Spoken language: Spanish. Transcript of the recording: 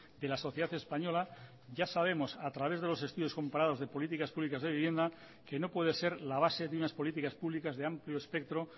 de la sociedad española ya sabemos a través de los estudios comparados de políticas públicas de vivienda que no puede ser la base de unas políticas públicas de amplio espectro